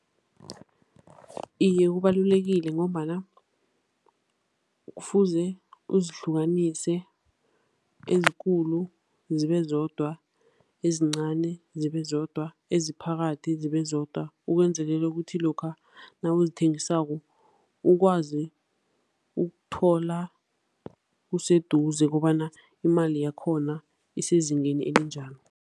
Iye, kubalulekile ngombana kufuze uzihlukanise, ezikulu zibezodwa, ezincani zibezodwa, eziphakathi zibezodwa, ukwenzelela ukuthi lokha nawuzithengisako ukwazi ukuthola useduze kobana imali yakhona isezingeni elinjani.